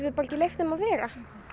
bara leyft þeim að vera